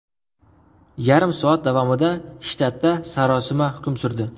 Yarim soat davomida shtatda sarosima hukm surdi.